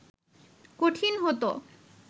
কঠিন হত